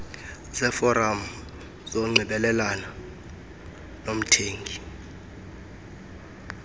zeeforam zokunxibelelana nomthengi